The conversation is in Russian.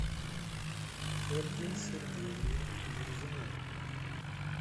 ольге сергеевне мурзиной